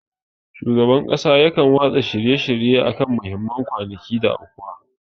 Shugaban kasa yakan yi watsa shirye akan muhimman kwanaki da aukuwa.